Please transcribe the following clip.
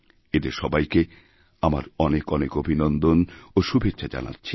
এঁদের সবাইকেআমার অনেক অনেক অভিনন্দন ও শুভেচ্ছা জানাচ্ছি